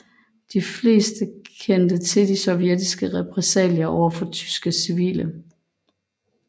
De fleste kendte til de sovjetiske repressalier overfor tyske civile